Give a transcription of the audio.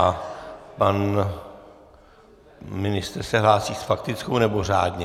A pan ministr se hlásí s faktickou, nebo řádně?